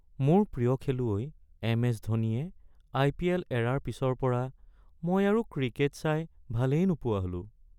মোৰ প্ৰিয় খেলুৱৈ এম.এচ. ধোনীয়ে আই.পি.এল. এৰাৰ পিছৰ পৰা মই আৰু ক্ৰিকেট চাই ভালেই নোপোৱা হ'লো।